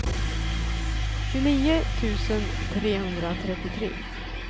tjugonio tusen trehundratrettiotre